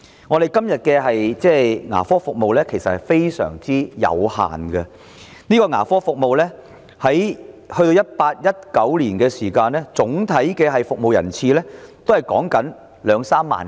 我們現時的牙科服務非常有限，在 2018-2019 年度，接受政府牙科服務的人次只有兩三萬。